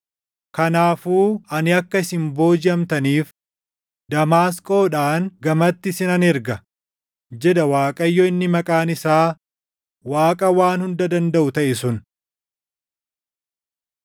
Kanaafuu ani akka isin boojiʼamtaniif, Damaasqoodhaan gamatti isinan erga” jedha Waaqayyo inni maqaan isaa // Waaqa Waan Hunda Dandaʼu taʼe sun.